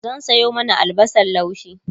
zan Sayo mana albasan laushi